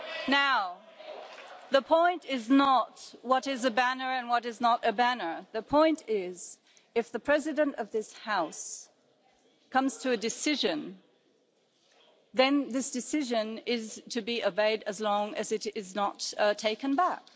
Now, the point is not what is a banner and what is not a banner the point is that if the President of this House comes to a decision, then this decision is to be obeyed as long as it is not taken back.